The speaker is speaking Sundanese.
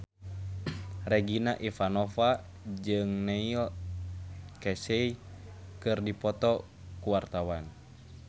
Regina Ivanova jeung Neil Casey keur dipoto ku wartawan